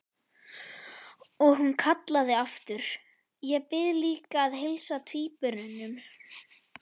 Og hún kallaði aftur: Ég bið líka að heilsa tvíburunum!